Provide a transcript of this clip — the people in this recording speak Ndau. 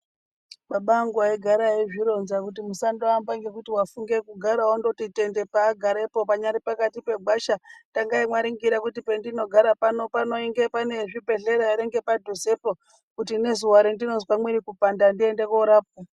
Baba angu aigara eizvironza kuti musandoamba ngekuti wafunge kugara wondoti tende paagarepo panyari pakati pegwasha takai mwaringira kuti pendinogara pano panoinge pane zvibhehleya ngepadhuzepo kuti nezuwa randinozwe mwiri kupanda ndiende korapwa.